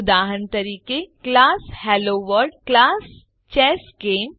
ઉદાહરણ તરીકે class hello world class chess game